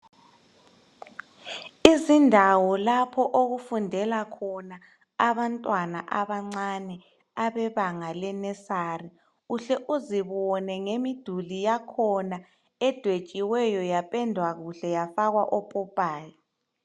Izindawo lapho okufundela khona abantwana abancane abebanga lenesari uhle uzibone emiduli yakhona edwetshiweyo laphendwa kuhle yafakwa opopayi